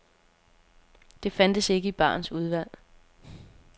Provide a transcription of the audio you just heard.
Det fandtes ikke i barens udvalg.